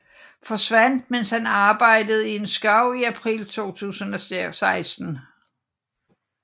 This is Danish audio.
Forsvandt mens han arbejdede i en skov i april 2016